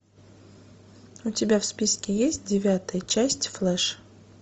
у тебя в списке есть девятая часть флэш